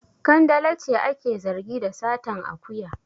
Kandala ce ake zargi da satan akuya.